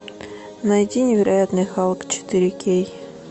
найди невероятный халк четыре кей